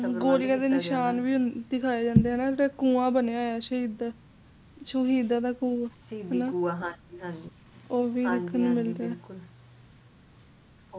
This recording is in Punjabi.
ਗੋਲੀਆ ਦੇ ਨਿਸ਼ਾਨ ਵੀ ਦਿਖਾਈ ਜਾਂਦੇ ਆ ਜੀ ਕੁਆ ਬੰਨ੍ਹਿਆ ਹੋਇਆ ਸੀ ਓਦਰ